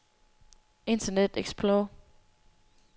internet explorer